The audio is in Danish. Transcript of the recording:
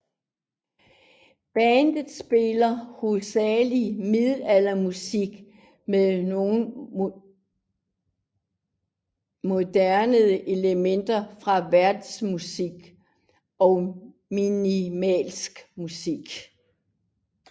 Bandet spiller hovedsageligt middelaldermusik med nogle moderne elementer fra verdensmusik og minimalistisk musik